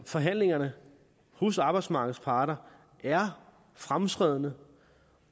forhandlingerne hos arbejdsmarkedets parter er fremskredne